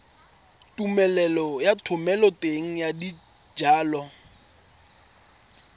tumelelo ya thomeloteng ya dijalo